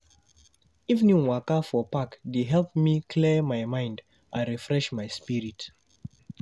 Evening waka for park dey help clear my mind and refresh my spirit.